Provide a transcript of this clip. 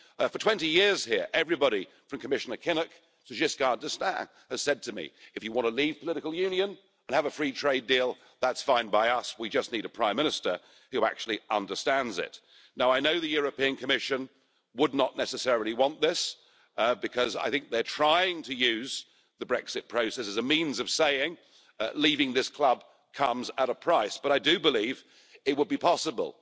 For 20 years here, everybody from Commissioner Kinnock to Valéry Giscard d'Estaing has said to me if you want to leave political union and have a free trade deal, that's fine by us, we just need a prime minister who actually understands it. I know the European Commission would not necessarily want this, because they're trying to use the Brexit vote as a means of saying that leaving this club comes at a price, but I do believe it would be possible.